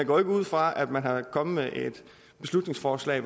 går ikke ud fra at man er kommet med et forslag